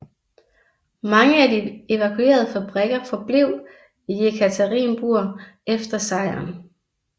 Mange af de evakuerede fabrikker forblev i i Jekaterinburg efter sejren